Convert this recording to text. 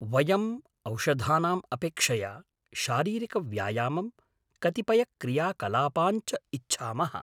वयम् औषधानाम् अपेक्षया शारीरिकव्यायामं, कतिपयक्रियाकलापान् च इच्छामः।